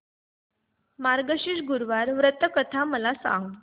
मार्गशीर्ष गुरुवार व्रत कथा मला सांग